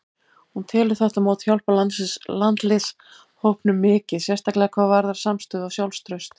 Hún telur þetta mót hjálpa landsliðshópnum mikið, sérstaklega hvað varðar samstöðu og sjálfstraust.